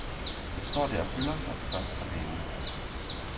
Den står der og fylder, når den først er malet.